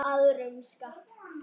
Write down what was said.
Og kasta mér á hana.